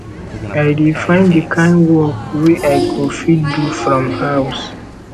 i dey find di kain work wey i go fit do from house